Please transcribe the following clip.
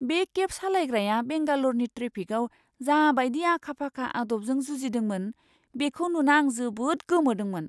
बे केब सालायग्राया बेंगाल'रनि ट्रेफिकआव जाबायदि आखा फाखा आदबजों जुजिदोंमोन, बेखौ नुना आं जोबोद गोमोदोंमोन!